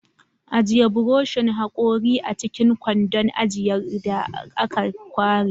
Ajiye buroshin hakori a cikin kwandon ajiyar da aka ware.